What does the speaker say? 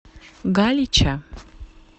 галича